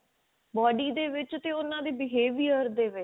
body ਦੇ ਵਿੱਚ ਤੇ ਉਹਨਾਂ ਦੇ behavior ਦੇ ਵਿੱਚ